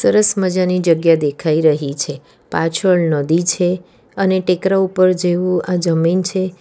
સરસ મજા ની જગ્યા દેખાઈ રહી છે પાછળ નદી છે અને ટેકરા ઉપર જેવું આ જમીન છે.